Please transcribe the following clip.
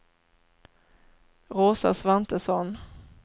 Rosa Svantesson